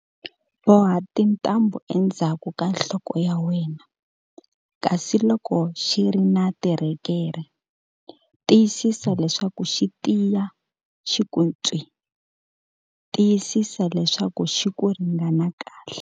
Boha titambhu endzhaku ka nhloko ya wena, kasi loko xi ri na tirhekerhe, tiyisisa leswaku xi tiya xi ku ntswii! Tiyisisa leswaku xi ku ringana kahle.